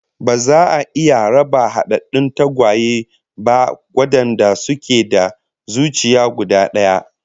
Ba za a iya raba hadaddun tagwaye ba wadanda suke da zuciya guda daya